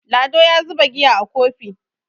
Lado ya zuba giya a Kofi